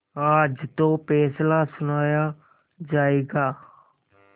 आज तो फैसला सुनाया जायगा